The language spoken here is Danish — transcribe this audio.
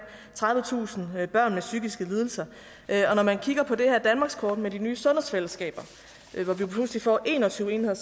tredivetusind børn med psykiske lidelser og når man kigger på det her danmarkskort med de nye sundhedsfællesskaber hvor vi pludselig får en og tyve enheder